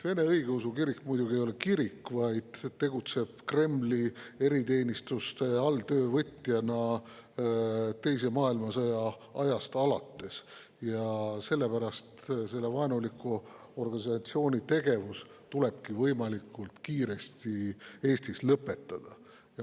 Vene Õigeusu Kirik ei ole muidugi kirik, vaid ta tegutseb Kremli eriteenistuste alltöövõtjana teise maailmasõja ajast alates, ja sellepärast selle vaenuliku organisatsiooni tegevus tulebki võimalikult kiiresti Eestis lõpetada.